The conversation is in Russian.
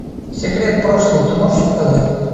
секрет прошлого ты можешь показать